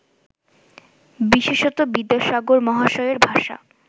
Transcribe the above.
বিশেষত বিদ্যাসাগর মহাশয়ের ভাষা